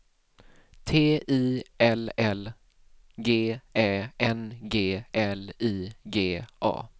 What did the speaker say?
T I L L G Ä N G L I G A